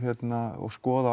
og skoða